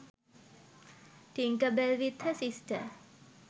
tinkerbell with her sister